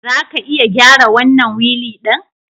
Za ka iya gyara wannan wili ɗin?